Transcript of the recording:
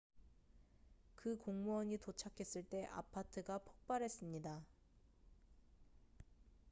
그 공무원이 도착했을 때 아파트가 폭발했습니다